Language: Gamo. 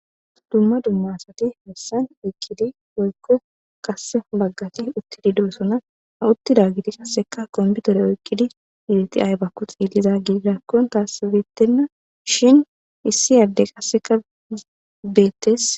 Dumma dummasati messan oykkidi woykko qasse baggati uttidi doosona ha uttida giti qasseka kompiutore oykkidi iideti aybakku xiilliza giigirakkon taasibeettenna shin issi adde qasseka beettes